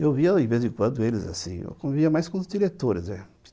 Eu via, de vez em quando, eles assim, eu via mais com os diretores, né.